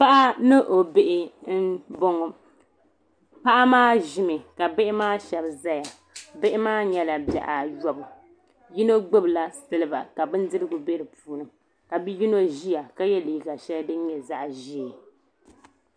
Paɣa ni o bihi mboŋɔ paɣa maa ʒimi ka bihi maa sheba zaya bihi maa nyɛla bihi ayɔbu yino gbibi la siliba ka bindirigu be dipuuni ka bi'yino ʒia ka ye liiga sheli din nyɛ zaɣa ʒee.